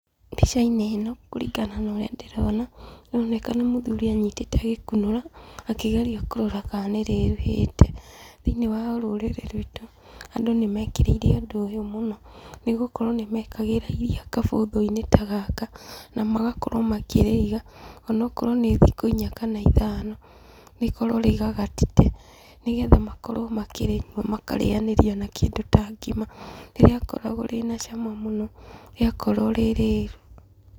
Mbica-inĩ ĩno, kũringana na ũrĩa ndĩrona, ĩroneka nĩ mũthuri anyitĩte agĩkunũra akĩgeria kũrora kana nĩrĩruhĩte. Thĩiniĩ wa rũrĩrĩ rwitũ, andũ nĩmekĩrĩire ũndũ ũyũ mũno, nĩgũkorwo nĩmekagĩra iria kabũthũ-inĩ ta gaka, na magakorwo makĩrĩiga, onokorwo nĩ thĩkũ inya kana ithano, rĩkorwo rĩgagatĩte, nĩgetha makorwo makĩrĩnyua makarĩanĩria na kĩndũ ta ngima. Nĩ rĩakoragwo rĩ na cama mũno, rĩakorwo rĩ rĩru.